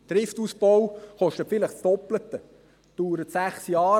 – Der Trift-Ausbau kostet vielleicht das Doppelte und dauert sechs Jahre.